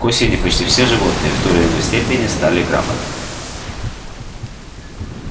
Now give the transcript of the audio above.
к осени почти все животные в той или иной степени стали грамотными